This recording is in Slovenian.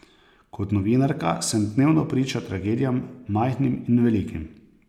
Kot novinarka sem dnevno priča tragedijam, majhnim in velikim.